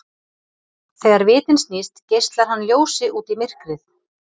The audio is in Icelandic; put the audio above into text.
Þegar vitinn snýst geislar hann ljósi út í myrkrið.